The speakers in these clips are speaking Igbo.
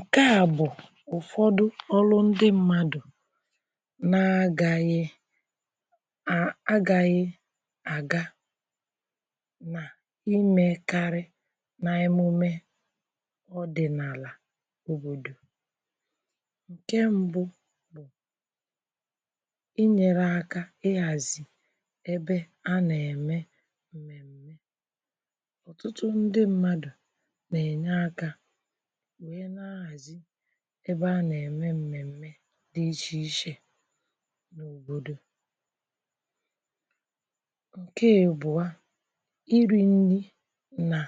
ǹke à bụ̀ ụ̀fọdụ ọrụ ndị mmadụ̀ na-agȧyė agȧyė àga nà ịmė karị na-emume ọdị̀ n’àlà òbòdò ǹke mbụ bụ ịnyere akȧ ịhàzị̀ ebe a nà-ème ǹmèm̀me ọ̀tụtụ ndị mmadụ̀ Na-Enye aka wee na-ahazi ebe a nà-ème m̀mèm̀me dị ichè ichè n’òbòdò ǹke ịbụa iri̇ nrị nà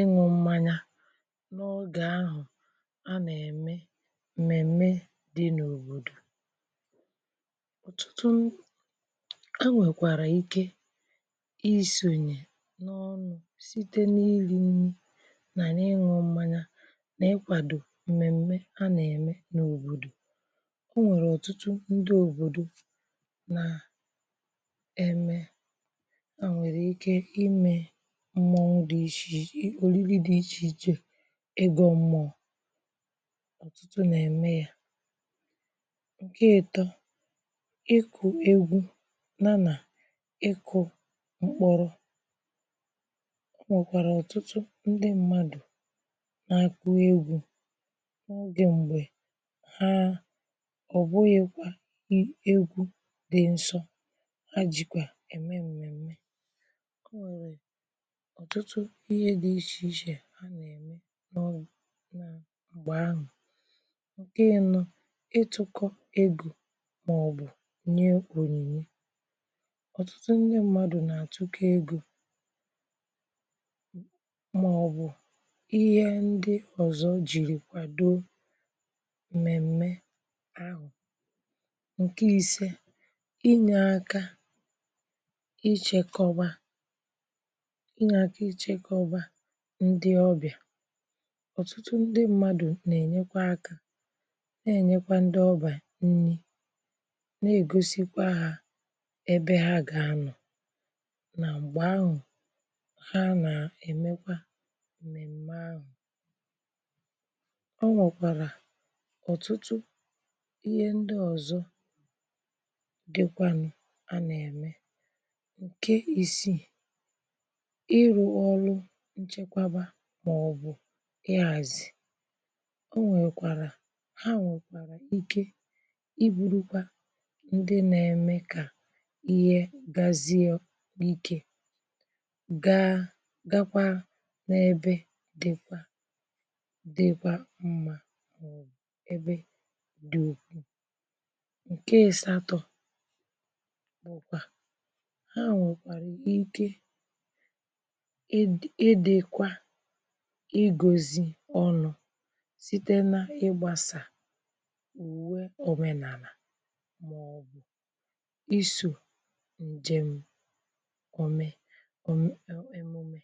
ịṅụ̇ mmȧnyȧ n’ọgà ahụ̀ a nà-ème m̀mèm̀me dị n’òbòdò ọ̀tụtụ a nwèkwàrà ike isònyè n’ọnụ̇ site n’ịli̇ nnị nà n’ịṅụ̇ mmȧnyȧ na ịkwado mmèm̀me a nà-ème n’òbòdò o nwèrè ọ̀tụtụ ndị òbòdo nà-eme ha nwèrè ike imė mmọọ dị ichè òlili dị̇ ichè ichè egọ̇ mmọọ ọ̀tụtụ nà-ème ya ǹke ịtọ ịkụ̇ egwu na nà ịkụ̇ mkpọrọ o nwekwara ọtụtụ ndị mmadụ na-akụ egwu n’ogè m̀gbè ha ọ̀bụghị̇kwa i egwu dị nsọ ha jìkwà ème m̀mèm̀me ọ nwere ọ̀tụtụ ihe dị ichè ichè ha nà-ème nọ m̀gbè ahụ̀ nke ịnọ ịtụ̇kọ ego màọbụ̀ nye ònyìnye ọ̀tụtụ ndị mmadụ̀ nà-àtụkọ ego ma ọ bụ ihe ndị ọzọ jiri kwadoo m̀mèm̀me ahụ̀ ǹke ise ịnye aka ịchėkọba ịnye aka ịchėkọba ndị ọbịà ọ̀tụtụ ndị mmadụ̀ nà-ènyekwa aka nà-ènyekwa ndị ọbà nni nà-ègosịkwa ha ebe ha gà-anọ̀ nà m̀gbè ahụ̀ ha nà-èmekwa mmemme ahụ o nwekwara ọ̀tụtụ ihe ndị ọ̀zọ dịkwanụ̇ anà-ème ǹke isii ịrụ̇ ọrụ nchekwaba màọ̀bụ̀ ịhàzì o nwèkwàrà ha nwèkwàrà ike ịbùrukwa ndị nȧ-ème kà ihe gazie n’ike gaa gakwaa n’ebe dị̀kwa dịkwa mma ma ọ bụ ebe dị ukwuu ǹke ị̀sàtọ̇ bụ̀kwà ha nwèkwàra ike ịd ịdị̇kwa ịgȯzi̇ ọnụ̇ site n’ịgbȧsà ùwe òmenàlà màọ̀bụ̀ isò ǹjèm òme em emume